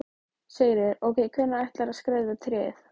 Sigríður: Og hvenær ætlarðu að skreyta tréð?